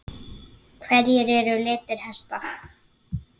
Hverjir eru litir hesta?